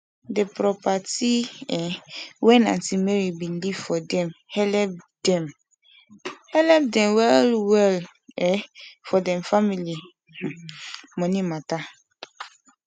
the properti um wen auntie mary bin leave for dem helep dem helep dem well well um for dem family um moni mata